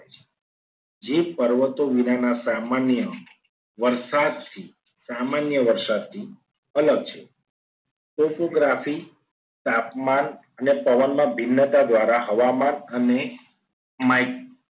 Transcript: જે પર્વતો વિનાના સામાન્ય વરસાદથી સામાન્ય વરસાદથી અલગ છે choreographic તાપમાન અને પવનના ભિન્નતા દ્વારા હવામાન અને mic